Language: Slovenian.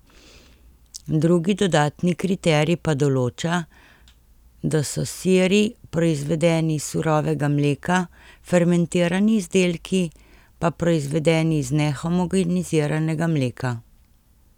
Drugi dodatni kriterij pa določa, da so siri proizvedeni iz surovega mleka, fermentirani izdelki pa proizvedeni iz nehomogeniziranega mleka.